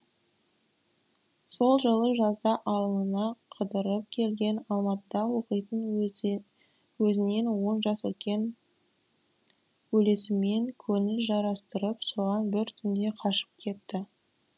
сол жылы жазда ауылына қыдырып келген алматыда оқитын өзінен он жас үлкен бөлесімен көңіл жарастырып соған бір түнде қашып кетті